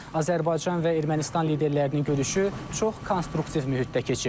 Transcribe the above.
Azərbaycan və Ermənistan liderlərinin görüşü çox konstruktiv mühitdə keçib.